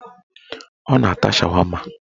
Ọ na-ata shawama